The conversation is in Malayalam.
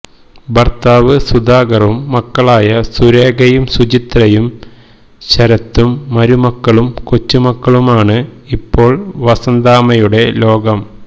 ഭര്ത്താവ് സുധാകറും മക്കളായ സുരേഖയും സുചിത്രയും ശരത്തും മരുമക്കളും കൊച്ചുമക്കളുമാണ് ഇപ്പോള് വസന്താമ്മയുടെ ലോകം